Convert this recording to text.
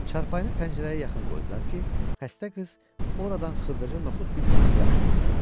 Çarpayını pəncərəyə yaxın qoydular ki, xəstə qız oradan xırdaca noxud bitkisini yaxşı görsün.